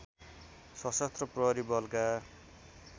शसस्त्र प्रहरी बलका